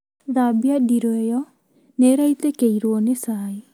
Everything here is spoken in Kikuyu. Thambia ndiroo ĩyo nĩ ĩraitĩkĩrwo nĩ cai